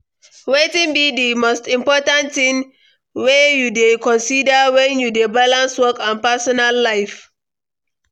Wetin be di most important thing wey you dey consider when you dey balance work and personal life?